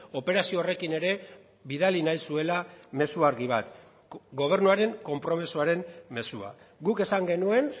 operazio horrekin ere bidali nahi zuela mezu argi bat gobernuaren konpromisoaren mezua guk esan genuen